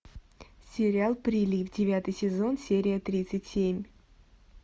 сериал прилив девятый сезон серия тридцать семь